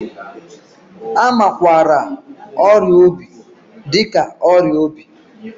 A makwaara ọrịa obi dị ka ọrịa obi.